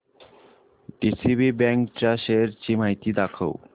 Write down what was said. DCB bank च्या shares ची माहिती दाखव